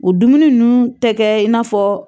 U dumuni ninnu tɛ kɛ i n'a fɔ